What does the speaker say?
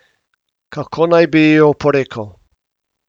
Kako naj bi ji oporekal?